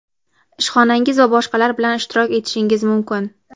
ishxonangiz va boshqalar bilan ishtirok etishingiz mumkin.